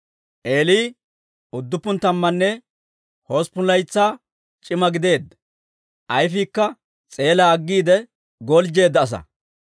Eeli udduppun tammanne hosppun laytsaa c'ima gideedda, ayfiikka s'eelaa aggiide goljjeedda asaa.